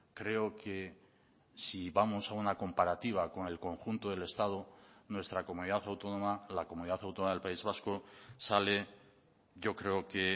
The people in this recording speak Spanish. creo que si vamos a una comparativa con el conjunto del estado nuestra comunidad autónoma la comunidad autónoma del país vasco sale yo creo que